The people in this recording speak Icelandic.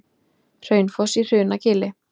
Hraunfoss í Hrunagili.